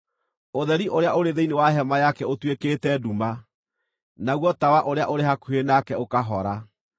Ũtheri ũrĩa ũrĩ thĩinĩ wa hema yake ũtuĩkĩte nduma; naguo tawa ũrĩa ũrĩ hakuhĩ nake ũkahora.